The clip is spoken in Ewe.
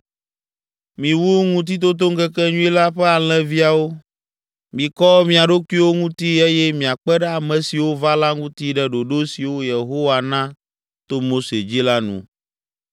Miwu Ŋutitotoŋkekenyui la ƒe alẽviawo, mikɔ mia ɖokuiwo ŋuti eye miakpe ɖe ame siwo va la ŋuti ɖe ɖoɖo siwo Yehowa na to Mose dzi la nu.”